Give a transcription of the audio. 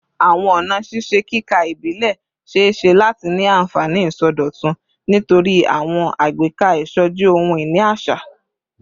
Awọn ọna ṣiṣe kika ibilẹ ṣee ṣe lati ni anfani isọdọtun nitori awọn agbeka isoji ohun-ini aṣa